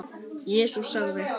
Jesús sagði:.